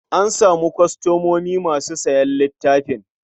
An samu kwastomomi masu sayan littafin?